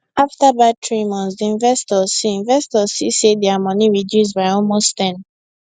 after bad three months d investors see investors see say dia money reduce by almost 10